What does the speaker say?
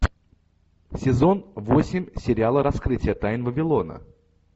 сезон восемь сериала раскрытие тайн вавилона